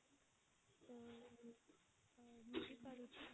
ବୁଝି ପାରୁଛି